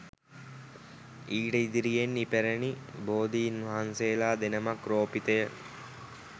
ඊට ඉදිරියෙන් ඉපැරණි බෝධීන් වහන්සේලා දෙනමක් රෝපිතය